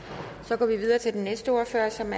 som